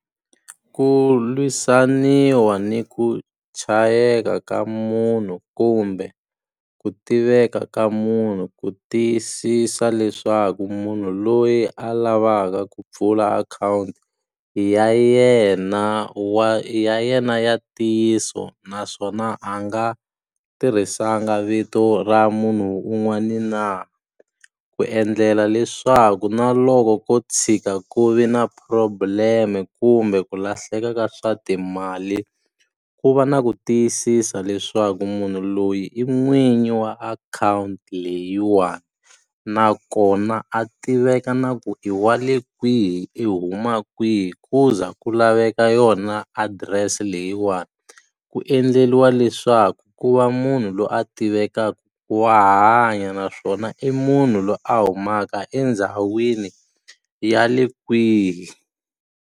Ku lwisaniwa ni ku chayeka ka munhu kumbe ku tiveka ka munhu ku tiyisisa leswaku munhu loyi a lavaka ku pfula akhawunti ya yena, ya yena ya ntiyiso. Naswona a nga tirhisanga vito ra munhu un'wani na, ku endlela leswaku na loko ko tshika ku vi na problem-e kumbe ku lahleka ka swa timali, ku va na ku tiyisisa leswaku munhu loyi i n'winyi wa akhawunti leyiwani. Nakona a tiveka na ku i wa le kwihi i huma kwihi ku ze ku laveka yona adirese leyiwani. Ku endleriwa leswaku ku va munhu loyi a tivekaka ku wa hanya naswona i munhu loyi a humaka endhawini ya le kwihi.